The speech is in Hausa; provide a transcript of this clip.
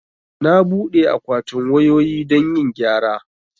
Na buɗe akwatin wayoyi don yin gyara